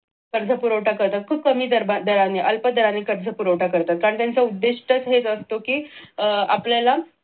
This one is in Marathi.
कर्ज पुरवठा करतात खूप कमी दराने अल्प दराने कर्ज पुरवठा करतात कारण त्यांचं उद्देदेश तर हेच असतो कि अह आपल्याला